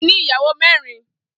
Folarin ni iyàwó mèrín